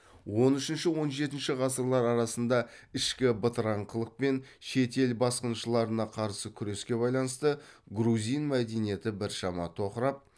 он үшінші он жетінші ғасырлар арасында ішкі бытыраңқылық пен шет ел басқыншыларына қарсы күреске байланысты грузин мәдениеті біршама тоқырап